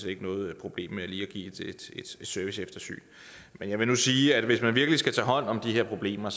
ikke noget problem med lige at give et serviceeftersyn men jeg vil nu sige at hvis man virkelig skal tage hånd om de her problemer